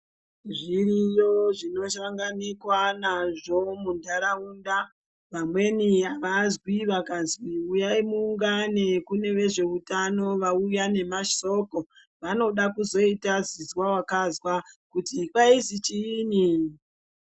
Zviriyo zvino sanganikwa nazvo mundaraunda, vamweni avazwi vakazwi huyayi muungane kune vezveutano vauya nemasoko, vanoda kuzoyita zizwa wakazwa kuti kwayizi chiyini.